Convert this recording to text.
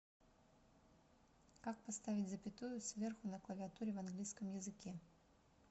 как поставить запятую сверху на клавиатуре в английском языке